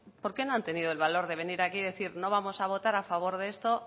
por qué no ha tenido el valor de venir aquí y decir no vamos a votar a favor de esto